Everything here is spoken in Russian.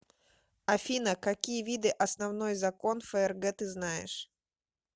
афина какие виды основной закон фрг ты знаешь